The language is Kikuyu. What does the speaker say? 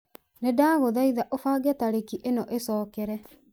ni ndaguthaitha ũbange tarĩki ĩno ĩcokere